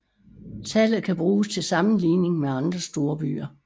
Tallet kan bruges til sammenligning med andre storbyer